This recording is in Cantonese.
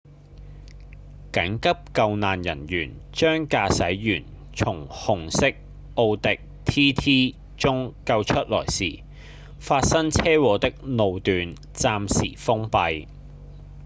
緊急救難人員將駕駛員從紅色奧迪 tt 中救出來時發生車禍的路段暫時封閉